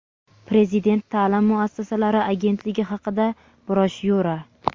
Prezident ta’lim muassasalari agentligi haqida broshyura;.